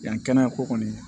Yanni kɛnɛya ko kɔni